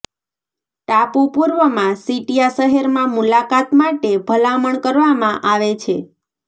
ટાપુ પૂર્વમાં સીટિયા શહેરમાં મુલાકાત માટે ભલામણ કરવામાં આવે છે